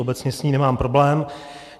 Obecně s ní nemám problém.